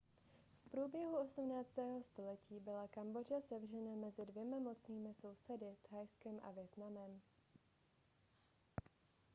v průběhu 18. století byla kambodža sevřena mezi dvěma mocnými sousedy thajskem a vietnamem